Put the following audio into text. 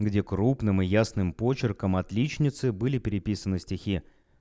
где крупным и ясным почерком отличницей были переписаны стихи